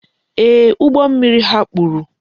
Ee, ụgbọ mmiri ha kpuru.